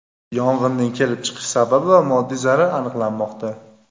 Yong‘inning kelib chiqish sababi va moddiy zarar aniqlanmoqda.